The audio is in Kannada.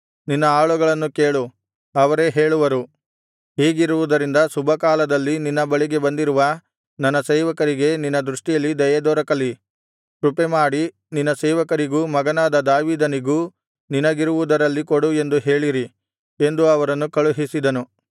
ನಿನ್ನ ಆಳುಗಳನ್ನು ಕೇಳು ಅವರೇ ಹೇಳುವರು ಹೀಗಿರುವುದರಿಂದ ಶುಭಕಾಲದಲ್ಲಿ ನಿನ್ನ ಬಳಿಗೆ ಬಂದಿರುವ ನನ್ನ ಸೇವಕರಿಗೆ ನಿನ್ನ ದೃಷ್ಟಿಯಲ್ಲಿ ದಯೆದೊರಕಲಿ ಕೃಪೆಮಾಡಿ ನಿನ್ನ ಸೇವಕರಿಗೂ ಮಗನಾದ ದಾವೀದನಿಗೂ ನಿನಗಿರುವುದರಲ್ಲಿ ಕೊಡು ಎಂದು ಹೇಳಿರಿ ಎಂದು ಅವರನ್ನು ಕಳುಹಿಸಿದನು